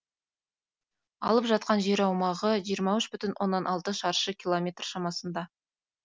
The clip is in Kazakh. алып жатқан жер аумағы жиырма үш бүтін оннан алты шаршы километр шамасында